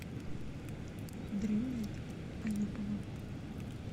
дрюней аюповым